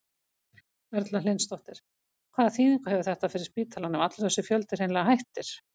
Erla Hlynsdóttir: Hvaða þýðingu hefur þetta fyrir spítalann ef allur þessi fjöldi hreinlega hættir?